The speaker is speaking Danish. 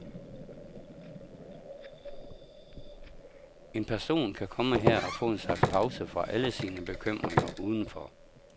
En person kan komme her og få en slags pause fra alle sine bekymringer udenfor.